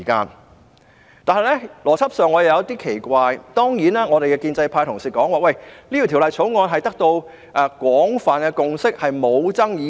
然而，我在邏輯上感到奇怪，建制派同事說這項《條例草案》已得到廣泛共識，而且沒有爭議性。